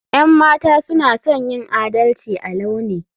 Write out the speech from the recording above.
Yan mata suna son yin adalci a launi.